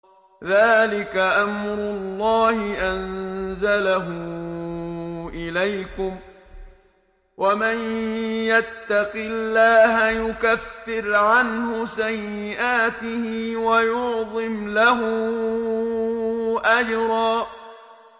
ذَٰلِكَ أَمْرُ اللَّهِ أَنزَلَهُ إِلَيْكُمْ ۚ وَمَن يَتَّقِ اللَّهَ يُكَفِّرْ عَنْهُ سَيِّئَاتِهِ وَيُعْظِمْ لَهُ أَجْرًا